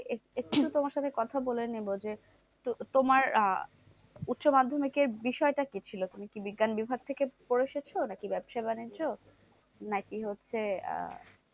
এক একটু তোমার সাথে কথা বলে নেবো যে, তোমার আহ উচ্চ মাধ্যমিকের বিষয়টা কি ছিল? তুমি কি বিজ্ঞান বিভাগ থেকে পড়ে এসেছো? নাকি ব্যবসা বাণিজ্য? নাকি হচ্ছে আহ